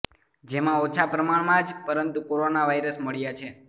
જેમા ઓછા પ્રમાણમાં જ પરંતુ કોરોના વાયરસ મળ્યા છે